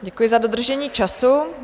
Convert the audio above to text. Děkuji za dodržení času.